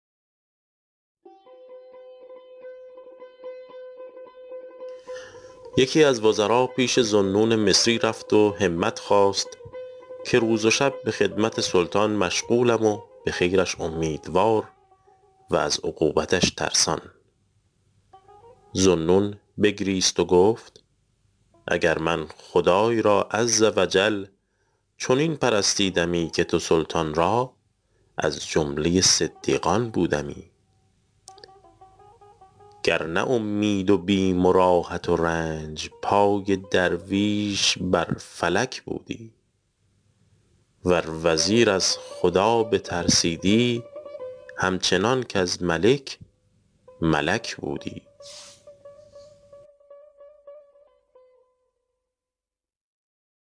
یکی از وزرا پیش ذوالنون مصری رفت و همت خواست که روز و شب به خدمت سلطان مشغولم و به خیرش امیدوار و از عقوبتش ترسان ذوالنون بگریست و گفت اگر من خدای را عز و جل چنین پرستیدمی که تو سلطان را از جمله صدیقان بودمی گر نه اومید و بیم راحت و رنج پای درویش بر فلک بودی ور وزیر از خدا بترسیدی هم چنان کز ملک ملک بودی